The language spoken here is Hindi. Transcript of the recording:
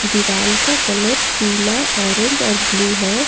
दीवाल का कलर पीला ऑरेंज और ब्लू है।